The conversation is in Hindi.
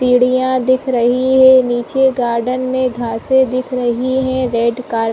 सीढ़िया दिख रही है निचे गार्डन में घासे दिख रही है रेड कारपेट --